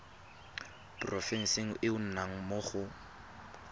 porofenseng e o nnang mo